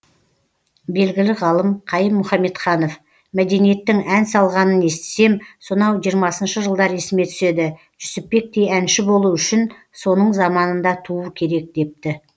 белгілі ғалым қайым мұхаметханов мәдениеттің ән салғанын естісем сонау жиырмасыншы жылдар есіме түседі жүсіпбектей әнші болу үшін соның заманында туу керек депті